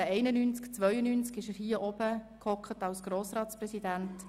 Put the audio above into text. In den Jahren 1991 bis 1992 sass er hier vorne als Grossratspräsident.